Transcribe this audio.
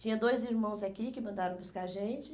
Tinha dois irmãos aqui que mandaram buscar a gente.